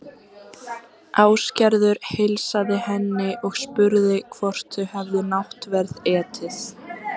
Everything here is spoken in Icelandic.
Ásgerður heilsaði henni og spurði hvort þau hefði náttverð etið.